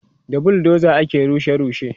da buldoza ake rushe rushe